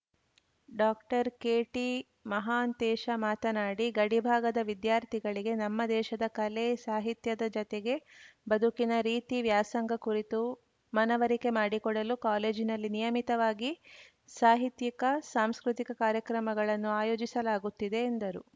ಡಾಕ್ಟರ್ಕೆಟಿಮಹಾಂತೇಶ ಮಾತನಾಡಿ ಗಡಿಭಾಗದ ವಿದ್ಯಾರ್ಥಿಗಳಿಗೆ ನಮ್ಮ ದೇಶದ ಕಲೆ ಸಾಹಿತ್ಯದ ಜತೆಗೆ ಬದುಕಿನ ರೀತಿ ವ್ಯಾಸಂಗ ಕುರಿತು ಮನವರಿಕೆ ಮಾಡಿಕೊಡಲು ಕಾಲೇಜಿನಲ್ಲಿ ನಿಯಮಿತವಾಗಿ ಸಾಹಿತ್ಯಿಕಸಾಂಸ್ಕೃತಿಕ ಕಾರ್ಯಕ್ರಮಗಳನ್ನು ಆಯೋಜಿಸಲಾಗುತ್ತಿದೆ ಎಂದರು